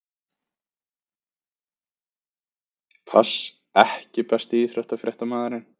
pass EKKI besti íþróttafréttamaðurinn?